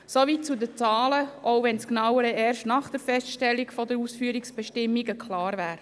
Soweit zu den Zahlen, auch wenn Genaues erst nach der Feststellung der Ausführungsbestimmungen klar würde.